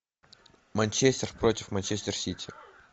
манчестер против манчестер сити